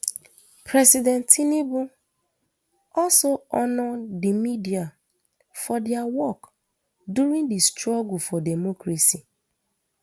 president tinubu also honour di media for dia work during di struggle for democracy